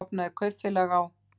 Hann stofnaði kaupfélag á